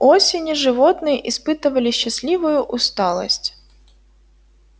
к осени животные испытывали счастливую усталость